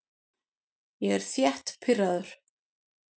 Ég er þétt pirraður.